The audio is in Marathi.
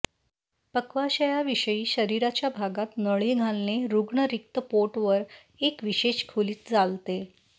पक्वाशया विषयी शरीराच्या भागात नळी घालणे रुग्ण रिक्त पोट वर एक विशेष खोलीत चालते